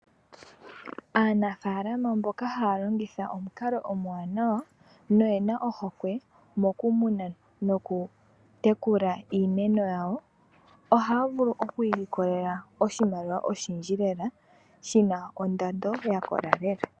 Aanafaalama mboka haya longitha omukalo omuwanawa noyena ohokwe mokumuna nokutekula iimeno, ohaya vulu oku ilikolela oshimaliwa oshindji shina ondando yakola lela.